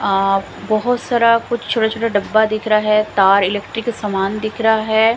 आ बहोत सारा कुछ छोटा छोटा डब्बा दिख रहा है तार इलेक्ट्रीक का सामान दिख रहा है।